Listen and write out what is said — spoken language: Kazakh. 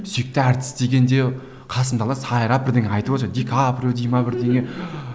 сүйікті әртіс дегенде қасымдағылар сайрап бірдеңе айтып отыр ди каприо дей ме бірдеңе